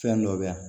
Fɛn dɔ bɛ yan